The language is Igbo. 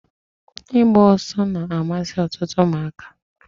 Igba oso na-amasi otutu umuaka.